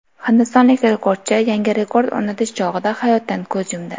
Hindistonlik rekordchi yangi rekord o‘rnatish chog‘ida hayotdan ko‘z yumdi .